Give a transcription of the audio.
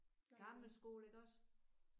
Gammel skole iggås?